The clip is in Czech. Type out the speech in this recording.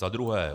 Za druhé.